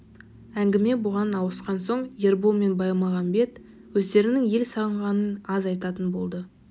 әңгіме бұған ауысқан соң ербол мен баймағамбет өздерінің ел сағынғанын аз айтатын болды